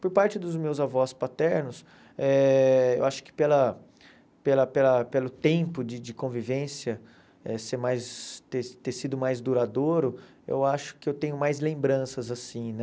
Por parte dos meus avós paternos, eh eu acho que pela pela pela pelo tempo de de convivência eh ser mais ter ter sido mais duradouro, eu acho que eu tenho mais lembranças assim, né?